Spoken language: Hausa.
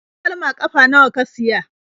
Takalma ƙafa nawa ka siya?